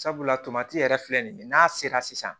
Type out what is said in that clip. Sabula yɛrɛ filɛ nin ye n'a sera sisan